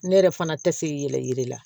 Ne yɛrɛ fana tɛ se yɛrɛ yiri la